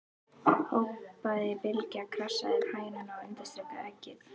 hrópaði Bylgja, krassaði yfir hænuna og undirstrikaði eggið.